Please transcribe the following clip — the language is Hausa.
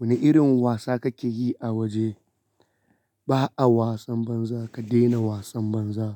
Wane irin wasa kake yi a waje? Ba'a wasan banza, ka daina wasan banza.